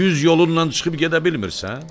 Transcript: Düz yolunnan çıxıb gedə bilmirsən?